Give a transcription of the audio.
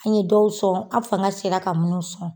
An ye dɔw sɔn , an fanga sera ka minnu sɔn.